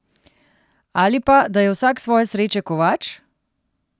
Ali pa, da je vsak svoje sreče kovač?